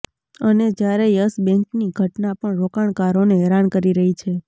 અને જ્યારે યસ બેંકની ઘટના પણ રોકાણકારોને હેરાન કરી રહી છે